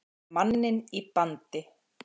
Með manninn í bandi